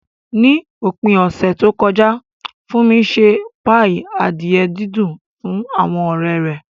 Ní òpin ọ̀sẹ̀ tó kọjá, Funmi ṣe páì adìẹ dídùn fún àwọn ọ̀rẹ́ rẹ̀.